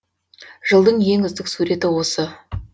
жылдың ең үздік суреті осы